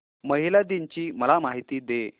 महिला दिन ची मला माहिती दे